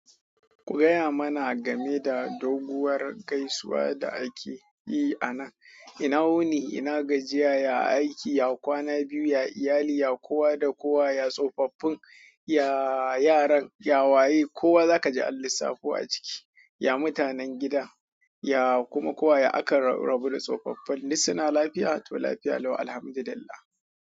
Gaya mana game da doguwar gaisuwa da ake yi a nan. Ina wuni, ina gajiya, ya aiki, ya kwana biyu, ya iyali, ya kowa da kowa, ya tsofaffin, ya yaran, ya waye. Kowa zaka ji an lissafo a ciki. Ya mutanen gida, ya kuma kowa. Ya aka rarrabu da tsofaffin, duk suna lafiya to lafiya lau, alhamdulillah.